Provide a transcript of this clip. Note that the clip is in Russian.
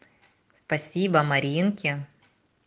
спасибо маринке